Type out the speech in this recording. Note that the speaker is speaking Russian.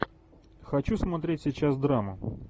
хочу смотреть сейчас драму